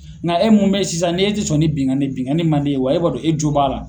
Nka e mun bɛ ye sisan n'i e tɛ sɔn ni binkanni binkanni man di e ye wa e b'a dɔn e jo b'a la.